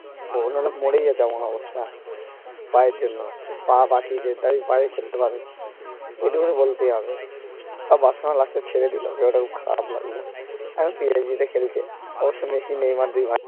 অন্য লোক মরেই যেত এমন অবস্থা পায়ের জন্য ওই পা বাঁচিয়েছে তাই পায়ে খেলতে পারে এইটুকুনি বলতেই হবে সব বার্সেলোনা last এ ছেড়ে দিল যেটা খুব খারাপ লাগলো এখন PIG তে খেলছে অবশ্য মেসি নেইমার দুই ভাই